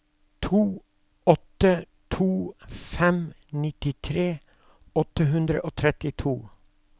to åtte to fem nittitre åtte hundre og trettito